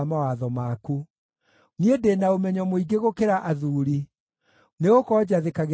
Niĩ ndĩ na ũmenyo mũingĩ gũkĩra athuuri, nĩgũkorwo njathĩkagĩra kĩrĩra gĩaku.